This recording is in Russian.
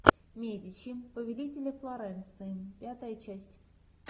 медичи повелители флоренции пятая часть